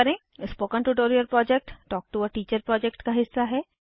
spoken tutorial project talk to a teacher project का हिस्सा है